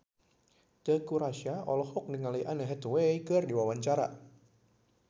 Teuku Rassya olohok ningali Anne Hathaway keur diwawancara